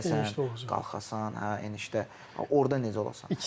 Düşəsən, qalxasan, hə enişdə orda necə olasan.